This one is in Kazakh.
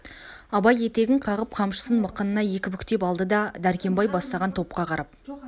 абай етегін қағып қамшысын мықынына екі бүктеп алды да дәркембай бастаған топқа қарап